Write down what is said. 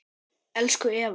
Elsku Eva